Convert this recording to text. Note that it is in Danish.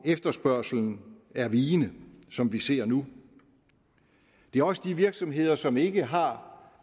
efterspørgslen er vigende som vi ser nu det er også de virksomheder som ikke har